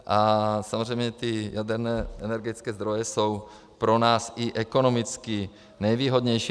A samozřejmě ty jaderné energetické zdroje jsou pro nás i ekonomicky nejvýhodnější.